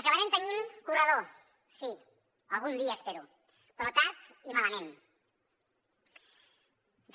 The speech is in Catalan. acabarem tenint corredor sí algun dia espero però tard i malament